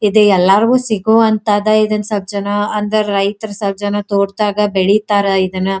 ಇದ್ ಎಲ್ಲರಿಗೂ ಸಿಗುವಂಥದ್ ಇದನ್ನ ಸ್ವಲ್ಪ ಜನ ಅಂದ್ರೆ ರೈತರು ಸ್ವಲ್ಪ ಜನ ತೋಟದಾಗ ಬೆಳೀತಾರೆ ಇದನ್ನ.